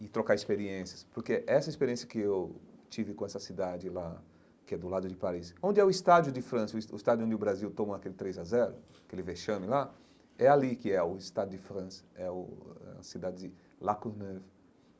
E trocar experiências, porque essa experiência que eu tive com essa cidade lá, que é do lado de Paris, onde é o Estádio de França, o es o estádio onde o Brasil toma aquele três a zero, aquele vechame lá, é ali que é o Estádio de França, é o a cidade de La Courneuve.